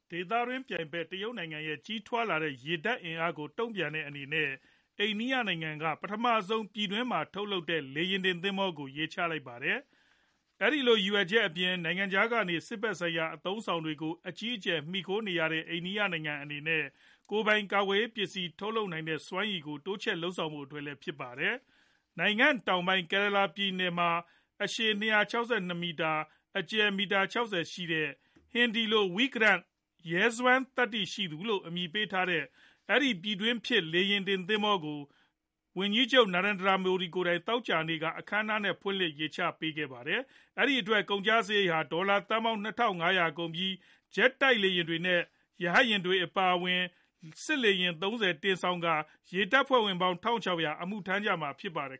ဒေသတွင်း ပြိုင်ဖက် တရုတ်နိုင်ငံ ရဲ့ကြီးထွားလာတဲ့ ရေတပ် အင်အားကို တုံ့ပြန်တဲ့အနေနဲ့ အိန္ဒိယနိုင်ငံက ပထမဆုံး ပြည်တွင်းမှာ ထုတ်လုပ်တဲ့ လေယာဉ်တင် သင်္ဘောကို ရေချလိုက်ပါတယ်။ အဲဒီလို ရည်ရွယ်ချက်အပြင် နိုင်ငံခြားကနေ စစ်ဖက်ဆိုင်ရာ အသုံးအဆောင်တွေကို အကြီးအကျယ် မှီခိုနေရတဲ့ အိန္ဒိယနိုင်ငံအနေနဲ့ ကိုယ်ပိုင် ကာကွယ်ရေး ပစ္စည်း ထုတ်လုပ်နိုင်တဲ့ စွမ်းရည်ကို တိုးချဲ့လုပ်ဆောင်ဖို့ အတွက်လည်း ဖြစ်ပါတယ်။ နိုင်ငံတောင်ပိုင်း Kerala ပြည်နယ် မှာ အရှည်၂၆၂ မီတာ အကျယ် မီတာ ၆ဝ ရှိတဲ့ ဟင်ဒီလို Vikrant "ရဲစွမ်းသတ္တိရှိသူ" လို့ အမည်ပေးထားတဲ့ အဲဒီ ပြည်တွင်းဖြစ် လေယာဉ်တင် သင်္ဘောကို ဝန်ကြီးချုပ် Narendra Modi ကိုယ်တိုင် သောကြာနေ့က အခမ်းအနားနဲ့ ဖွင့်လျှစ် ရေချပေးခဲ့ပါတယ်။ အဲဒီသင်္ဘောအတွက် ကုန်ကျစာရိတ်ဟာ ဒေါ်လာသန်းပေါင်း ၂ထောင် ၅ ရာ ကုန်ကျပြီး ဂျက်တိုက်လေယာဉ်တွေ နဲ့ ရဟတ်ယာဉ်တွေ အပါအဝင် စစ်လေယာဉ် ၃ဝ တင်ဆောင်ကာ ရေတပ်ဖွဲ့ဝင်ပေါင်း ၁ ၆ဝဝ ဝန်ကျင် အမှုထမ်းကြမှာဖြစ်ပါတယ်